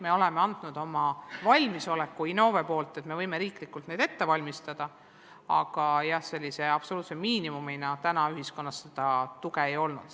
Me oleme andnud oma valmisoleku Innove kaudu, et me võime riiklikud testid ette valmistada, aga sellise absoluutse miinimumina ühiskonnas seda tuge ei ole olnud.